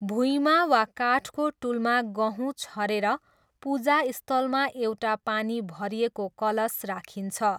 भुइँमा वा काठको टुलमा गहुँ छरेर पूजास्थलमा एउटा पानी भरिएको कलश राखिन्छ।